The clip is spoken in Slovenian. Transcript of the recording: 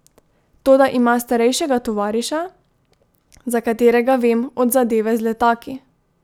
Toda ima starejšega tovariša, za katerega vem od zadeve z letaki!